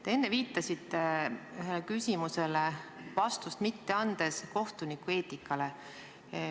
Te enne viitasite ühele küsimusele vastamata jättes kohtunikueetikale.